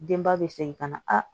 Denba bɛ segin ka na a